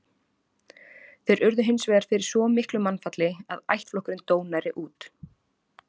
Þeir urðu hins vegar fyrir svo miklu mannfalli að ættflokkurinn dó nærri út.